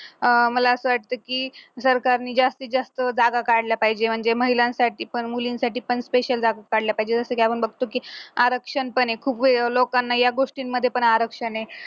अं मला असं वाटतं की सरकारने जास्तीत जास्त जागा काढल्या पाहिजे म्हणजे महिलांसाठी पण मुलींसाठी पण special जागा काढल्या पाहिजेत जसं की आपण बघतो की आरक्षण पण खूप वेळ लोकांनाही या गोष्टींमध्ये आरक्षण आहे